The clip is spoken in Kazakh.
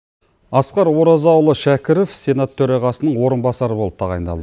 асқар оразаұлы шәкіров сенат төрағасының орынбасары болып тағайындал